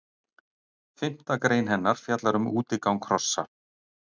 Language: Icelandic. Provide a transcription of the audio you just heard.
Fimmta grein hennar fjallar um útigang hrossa.